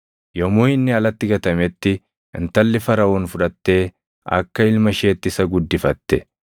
Yommuu inni alatti gatametti intalli Faraʼoon fudhattee akka ilma isheetti isa guddifatte.